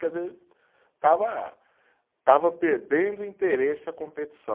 Quer dizer, estava, estava perdendo o interesse à competição.